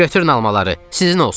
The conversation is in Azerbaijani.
Götürün almaları, sizin olsun.